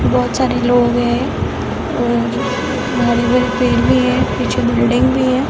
बोहोत सारे लोग है और हरे-भरे पेड़ भी हैं पीछे बिल्डिंग भी है।